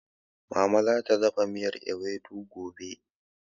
Mama zata dafa miyan ewedu gobe